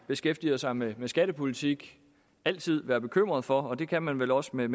beskæftiger sig med skattepolitik altid være bekymret for og det kan man vel også med